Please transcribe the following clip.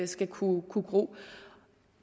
skal kunne gro